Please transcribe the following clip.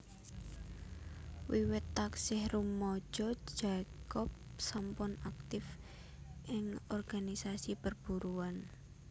Wiwit taksih rumaja Jacob sampun aktif ing organisasi perburuhan